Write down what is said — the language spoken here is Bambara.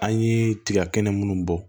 An ye tiga kɛnɛ munnu bɔ